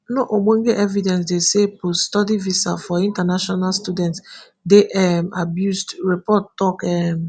no ogbonge evidence dey say poststudy visa for international students dey um abused report tok um